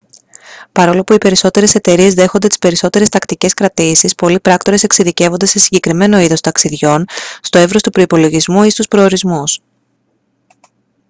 παρόλο που οι περισσότερες εταιρείες δέχονται τις περισσότερες τακτικές κρατήσεις πολλοί πράκτορες εξειδικεύονται σε συγκεκριμένο είδος ταξιδιών στο εύρος του προϋπολογισμού ή στους προορισμούς